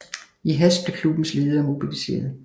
I hast blev klubbens ledere mobiliseret